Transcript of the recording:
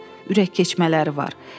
Ürək keçmələri var.